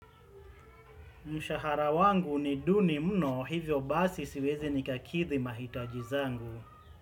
Mshahara wangu ni duni mno hivyo basi siwezi ni kakidhi mahitaji zangu.